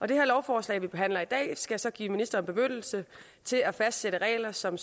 det lovforslag vi behandler i dag skal så give ministeren bemyndigelse til at fastsætte regler som